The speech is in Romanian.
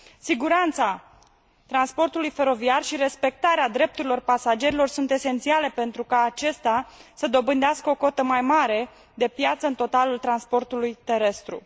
Siguranța transportului feroviar și respectarea drepturilor pasagerilor sunt esențiale pentru ca acesta să dobândească o cotă mai mare de piață în totalul transportului terestru.